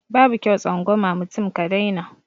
Babu kyau tsangwama mutum ka dai na